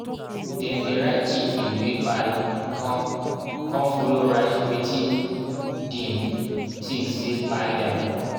dem dey write chicken wey kpai con con follow write wetin dim think say kpai dem.